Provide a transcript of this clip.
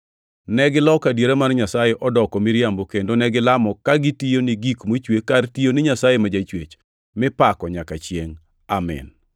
Negiloko adiera mar Nyasaye odoko miriambo kendo negilamo ka gitiyo ni gik mochwe kar tiyo ni Nyasaye ma Jachwech, mipako nyaka chiengʼ Amin.